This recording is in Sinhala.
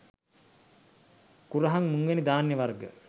කුරහන් මුං වැනි ධාන්‍ය වර්ග